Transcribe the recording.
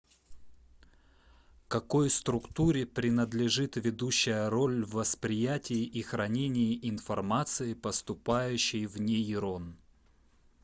какой структуре принадлежит ведущая роль в восприятии и хранении информации поступающей в нейрон